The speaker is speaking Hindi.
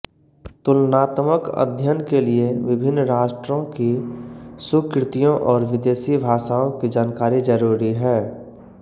तुलनात्मक अध्ययन के लिए विभिन्न राष्ट्रों की सुकृतियों और विदेशी भाषाओं की जानकारी जरूरी है